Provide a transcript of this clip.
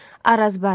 Arazbarı.